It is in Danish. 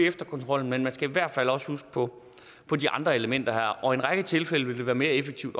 efterkontrollen men man skal i hvert fald også huske på på de andre elementer og i en række tilfælde vil det være mere effektivt